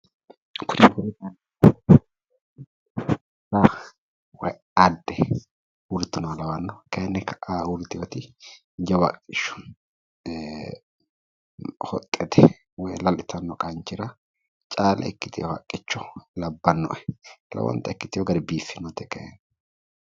Adde uuritinoha lawanno kayinni ka'aa uurritewoti jawa haqqicho hoxxete woyi lalu itanno qanchira caale ikkitino haqqicho labbannoe. Lowonta biiffinote ikkitewo gari biiffinote kayi